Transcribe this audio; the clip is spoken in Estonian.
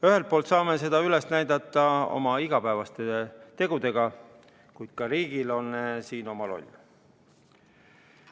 Ühelt poolt saame seda üles näidata oma igapäevaste tegudega, kuid ka riigil on siin oma roll.